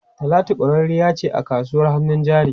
Talatu kwararriya ce a kasuwar hannun jari.